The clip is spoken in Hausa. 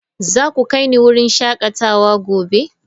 Za ku kai ni wurin shakatawa gobe?